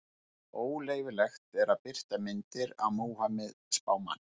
Óleyfilegt er að birta myndir af Múhameð spámanni.